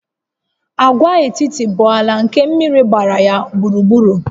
Agwaetiti bụ ala nke mmiri gbara ya gburugburu